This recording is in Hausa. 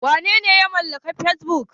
Wanene ya mallaki Fesbuk?